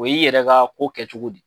O y'i yɛrɛ ka ko kɛ cogo de.